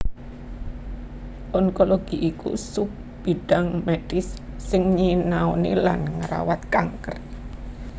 Onkologi iku sub bidhang medhis sing nyinaoni lan ngrawat kanker